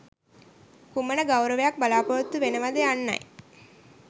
කුමන ගෞරවයක් බලාපොරොත්තු වෙනවද යන්නයි.